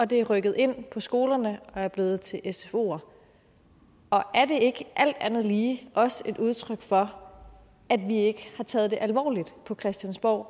det er rykket ind på skolerne og er blevet til sfoer er det ikke alt andet lige også et udtryk for at vi ikke har taget det alvorligt på christiansborg